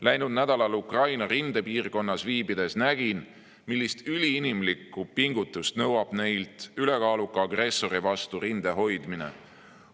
Läinud nädalal Ukraina rindepiirkonnas viibides nägin, millist üliinimlikku pingutust nõuab ülekaaluka agressori vastu rinde hoidmine.